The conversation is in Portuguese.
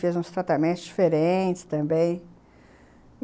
Fez uns tratamentos diferentes também.